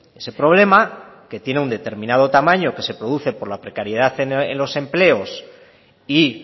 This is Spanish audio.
ese problema que tiene un determinado tamaño que se produce por la precariedad en los empleos y